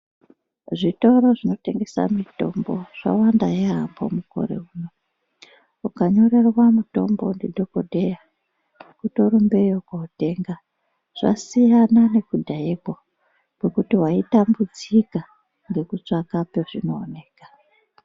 Zvitoro zvinotengesa mitombo zvawanda yaambo mukore uno. Ukanyorerwa mutombo ndidhogodheya kutorumbeyo kootenga. Zvasiyana nekudhayeko kwekuti waitambudzika ngekutsvaka pezvinooneka.